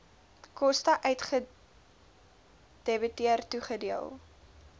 koste uitgedebiteer toegedeel